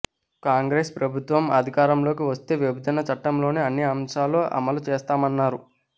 కాంగ్రెస్ ప్రభుత్వం అధికారంలోకి వస్తే విభజన చట్టంలోని అన్ని అంశాలను అమలు చేస్తామన్నారు